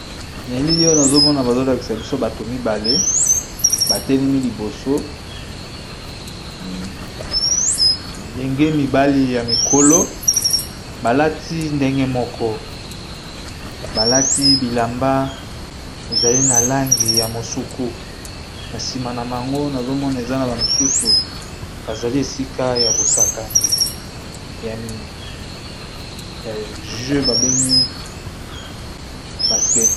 Nelile oyo nazomona bazolakisa biso bato mibale batelemi liboso melenge mibali ya mikolo balati ndenge moko balati bilamba ezali na langi ya mosuku na nsima na bango nazomona eza na ba misusu bazali esika ya bosakani ya jeu babengi baskete.